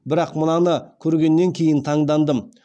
бірақ мынаны көргеннен кейін таңдандым